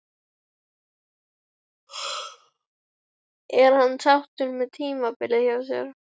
Er hann sáttur með tímabilið hjá sér?